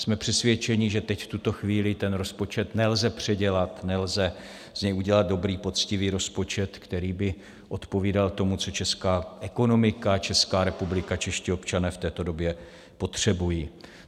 Jsme přesvědčeni, že teď, v tuto chvíli, ten rozpočet nelze předělat, nelze z něj udělat dobrý, poctivý rozpočet, který by odpovídal tomu, co česká ekonomika, Česká republika, čeští občané v této době potřebují.